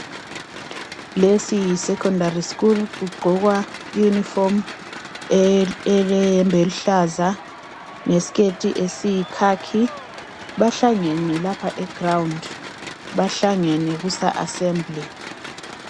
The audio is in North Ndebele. Lesiyi secondary school kugqokwa iunifomu ele yebhe eluhlaza lesiketi esiyikhakhi bahlangene lapha egrawundi bahlangele kusa Asermble